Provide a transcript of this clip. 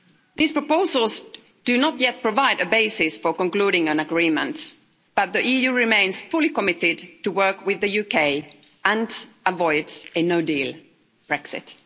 These proposals do not yet provide a basis for concluding an agreement, but the EU remains fully committed to work with the UK and avoid a no-deal Brexit.